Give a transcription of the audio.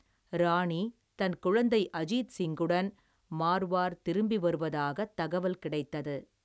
ராணி தன் குழந்தை அஜீத் சிங்குடன் மார்வார் திரும்பி வருவதாகத் தகவல் கிடைத்தது.